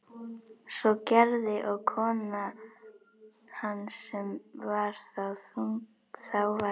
Svo gerði og kona hans sem þá var þunguð.